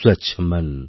স্বচ্ছমন্